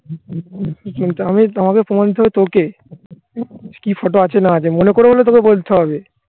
তাই বলছি হুম আমি তোমাকে প্রমাণ দিতে হবে তোকে